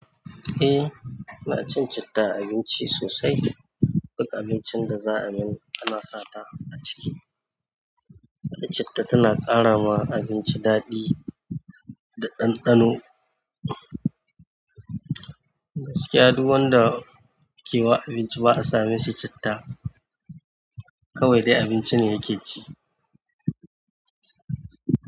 Eh, ina cin citta a abinci sosai. Duk abincin da za a yi ana sata a ciki, da citta tana ƙara wa abinci daɗi da ɗanɗano. Gaskiya duk wanda ke wa abinci ba a same shi citta, kawai dai abinci ne yake ci.